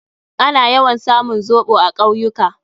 Ana yawan samun zoɓo a kawyuka.